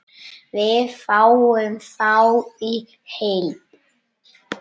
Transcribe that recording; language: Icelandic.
Við fáum þá í heild